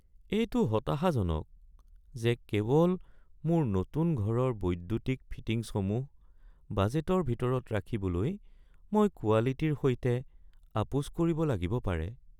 এইটো হতাশাজনক যে কেৱল মোৰ নতুন ঘৰৰ বৈদ্যুতিক ফিটিংছসমূহ বাজেটৰ ভিতৰত ৰাখিবলৈ মই কোৱালিটিৰ সৈতে আপোচ কৰিব লাগিব পাৰে।